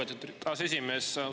Lugupeetud aseesimees!